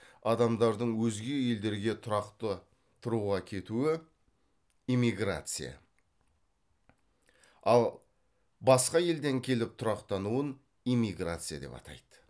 адамдардың өзге елдерге тұрақты тұруға кетуі эмиграция ал басқа елден келіп тұрақтануын иммиграция деп атайды